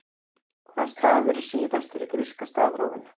Hvaða stafur er síðastur í gríska stafrófinu?